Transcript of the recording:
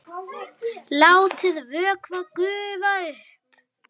Látið vökva gufa upp.